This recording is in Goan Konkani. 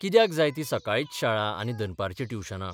कित्याक जाय ती सकाळीच शाळा आनी दनपारचीं ट्युशनां?